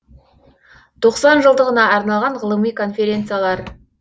тоқсан жылдығына арналған ғылыми конференциялар